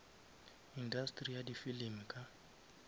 industeri ya di filimi ka